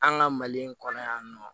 An ka mali in kɔnɔ yan nɔ